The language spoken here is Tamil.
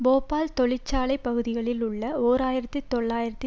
போபால் தொழிற்சாலை பகுதியில் உள்ள ஓர் ஆயிரத்தி தொள்ளாயிரத்தி